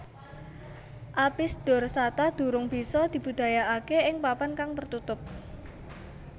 Apis dorsata durung bisa dibudidayakake ing papan kang tertutup